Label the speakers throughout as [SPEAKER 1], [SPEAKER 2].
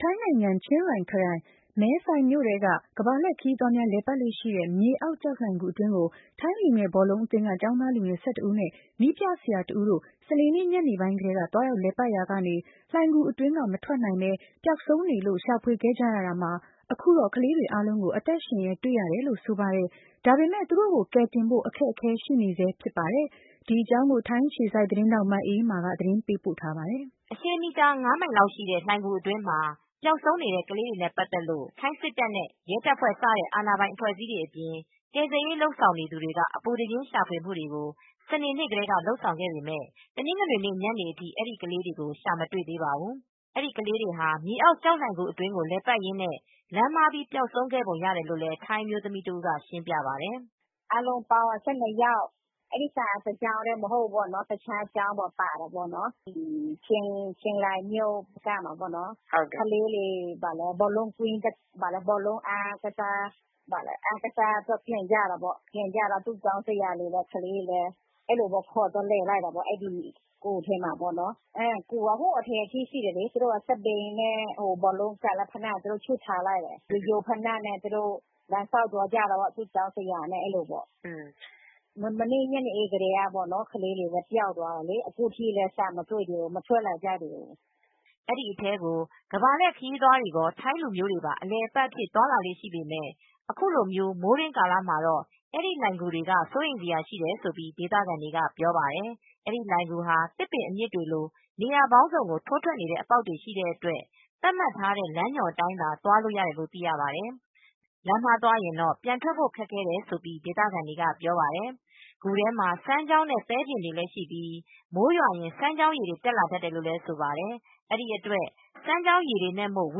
[SPEAKER 1] ထိုင်းနိုင်ငံ၊ ချင်းရိုင် ခရိုင်ထဲက ကမ္ဘာလှည့်ခရီးသွားများလည်ပတ်လေ့ရှိတဲ့ မြေအောက် ကျောက်လှိုဏ်ဂူအတွင်းကို ထိုင်းလူငယ် ဘောလုံးအသင်းက ကျောင်းသားလူငယ် ၁၂ဦးနဲ့ နည်းပြဆရာ တဦးတို့ စနေနေ့ ညနေပိုင်းကတည်းက သွားရောက် လည်ပတ်ရာကနေ လှိုင်ဂူအတွင်းကနေ မထွက်လာနိုင်ပဲ ပျောက်ဆုံးနေကြောင်းသိရပါတယ်။ မိုးတွင်းကာလမှာ အဲဒီလိုဏ်ဂူထဲကို ရေတွေ ဝင်လေ့ရှိတာကြောင့် ကလေးတွေရဲ့ အသက်အန္တရာယ်ကို စိုးရိမ်နေကြပါတယ်။ ဒီအကြောင်း ထိုင်းအခြေစိုက် VOA မြန်မာပိုင်းသတင်းထောက် မအေးအေးမာက သတင်း ပေးပို့ထားပါတယ်
[SPEAKER 2] ။ အရှည် ၅မိုင်လောက်ရှိတဲ့ လှိုဏ်ဂူအတွင်းမှာ ပျောက်ဆုံးနေတဲ့ ကလေးတွေနဲ့ ပတ်သက်လို့ ထိုင်းစစ်တပ်နဲ့ ရဲတပ်ဖွဲ့ စတဲ့ အာဏာပိုင် အဖွဲ့အစည်းတွေအပြင် ကယ်ဆယ်ရေးလုပ်နေသူတွေက အပူတပြင်း ရှာဖွေမူတွေကို စနေနေ့ကတည်းက လုပ်ဆောင်ခဲ့ပေမဲ့ တနင်္ဂနွေ ညနေအထိ အဲဒီ ကလေးတွေကို ရှာမတွေ့သေးပါဘူး။ အဲဒီကလေးတွေဟာ မြေအောက်ကျောက်လှိုင်ဂူအတွင်းကို လည်ပတ်ရင်းနဲ့ လမ်းမှားပြီး ပျောက်ဆုံးခဲ့ပုံရတယ်လို့လည်း ထိုင်းအမျိုးသမီးတဦးက ရှင်းပြပါတယ်
[SPEAKER 3] ။ " အားလုံးပေါင်း ၁၂ယောက်။ အဲဒီဟာကတကျောင်းထဲ မဟုတ်ဘူး။ တခြားကျောင်းတွေက လည်းပါတယ်ပေါ့။ ကလေးတွေ ဘောလုံး အားကစားပြိုင်ပွဲအပြီး အပြန်မှာ သူတို့ဆရာနဲ့ ကလေးတွေကို သူတို့ဂူထဲသွားလည်တာပေါ့။ ဂူက အတွင်းထိရှိတယ်။ သူတို့က စက်ဘီးနဲ့ ဘောလုံးကန် ဖိနပ်တွေ ချွတ်ထားခဲ့တယ်။ ရိုးရိုးဖိနပ်တွေနဲ့ လမ်းလျောက်သွားလိုက်တာပေါ့။ သူ့ကျောင်းဆရာနဲ့ မနေ့ ညနေကတည်းက ပျောက်သွားတယ်။ အခုထိလည်းရှာမတွေ့ကြသေးဘူး။
[SPEAKER 2] " အဲဒီ အထဲကို ကမ္ဘာလှည့် ခရီးသွားတွေရော ထိုင်းလူမျိုးတွေပါ အလည်အပတ်အဖြစ် သွားလာလေ့ရှိပေမယ့် အခုလို မိုးတွင်းကာလမှာတော့ အဲဒီ လှိုဏ်ဂူတွေက စိုးရိမ်စရာရှိတယ်လို့ ဒေသခံတွေ ပြောပါတယ်။ အဲဒီလှိုဏ်ဂူဟာ သစ်ပင်အမြစ်တွေလို နေရာပေါင်းစုံကို ထိုးထွက်နေတဲ့ အပေါက်တွေ ရှိတဲ့အတွက် သတ်မှတ်ထားတဲ့ လမ်းညွန်အတိုင်းသာ သွားလို့ရတယ်လို့သိရပါတယ်။ လမ်းမှားသွားရင် ပြန်ထွက်ရ ခက်တယ်လို့လည်း ဒေသခံတွေက ပြောပါတယ်။ ဂူထဲမှာ စမ်းချောင်းနဲ့ သဲပြင်တွေလည်းရှိပြီး မိုးရွာရင် စမ်းချောင်းရေတွေ တက်လာတတ်တယ်လို့ ဆိုပါတယ် ။ အဲဒီအတွက် စမ်းချောင်းရေတွေနဲ့မို့ ဝ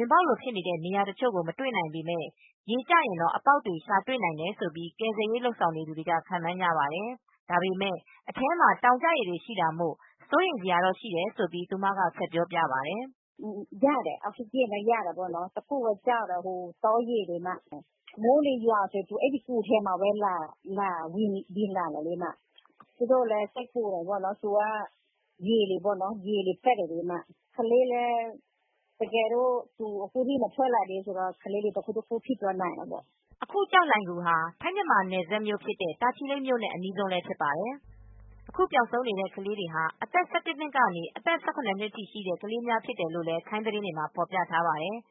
[SPEAKER 2] င်ပေါက်လို ဖြစ်နေတဲ့နေရာတချို့ကို မတွေ့နိုင်ပေမဲ့ ရေကျရင်တော့ အပေါက်တွေရှာတွေ့နိုင်တယ်လို့ကယ်ဆယ်ရေးလုပ်သူတွေက ခန့်မှန်းကြပါတယ်။ ဒါပေမဲ့ အထဲမှာ တောင်ကျရေတွေ ရှိတာမို့စိုးရိမ်စရာတော့ ရှိတယ်လို့ သူက ဆက်ပြောပြပါတယ်။
[SPEAKER 3] " တခုပဲ အောက်စီဂျင်တော့အဲဒီအထဲမှာ ရနိုင်ပါတယ်။ ဒါပေမဲ့ စိုးရိမ်စရာကောင်းတာက တောင်ကျရေတွေ၊ မိုးတွေရွာရင် အဲဒီဂူထဲကိုဘဲ စီးကျလာတာလေ။ ကယ်ဆယ်ရေးလုပ်သားတွေ စိုးရိမ်တာက ရေတွေတက်နေတဲ့အတွက်ကြောင့်ပါ။ ကလေးတွေလည်း အခုထိ မထွက်လာနိုင်သေးတော့ သူတို့တွေ တခုခုဖြစ်သွားနိုင်တာပေါ့။ " အခု ကျောက်လှိုဏ်ဂူ ဟာ ထိုင်း-မ
[SPEAKER 2] ြန်မာနယ်စပ်နဲ့ တာချီလိပ်မြို့နဲ့ အနီးဆုံးဖြစ်ပါတယ်။ အခု ပျောက်ဆုံးနေတဲ့ ကလေးငယ်တွေဟာ အသက် ၁၁နှစ်ကနေ အသက် ၁၇ ကျော်ထိရှိတဲ့ ကလေးတွေ ဖြစ်တယ်လို ့ထိုင်းသတင်းတွေမှာ ဖော်ပြထားပါတယ်။